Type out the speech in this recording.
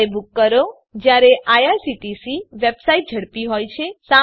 ત્યારે બૂક કરો જયારે આઇઆરસીટીસી વેબસાઈટ ઝડપી હોય છે